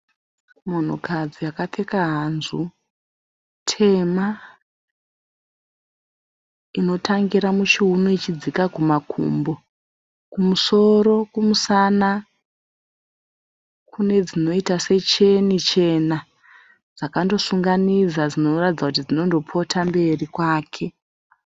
Munhukadzi akapfeka hanzu tema, inotangira muchiuno ichidzika kumakumbo. Kumusoro, kumusana kunedzinoita secheni chena dzakandosunganidza dzinoratidza kuti dzinondopota mberi kwake.